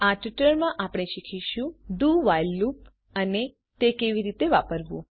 આ ટ્યુટોરીયલમાં આપણે શીખીશું do વ્હાઇલ લુપ અને તે કેવી રીતે વાપરવું